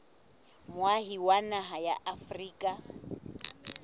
moahi wa naha ya afrika